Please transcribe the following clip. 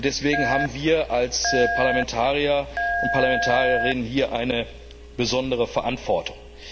Deswegen haben wir als Parlamentarier und Parlamentarierinnen eine besondere Verantwortung.